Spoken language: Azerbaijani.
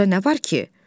Burda nə var ki?